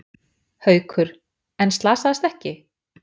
Haukur: En slasaðist ekki?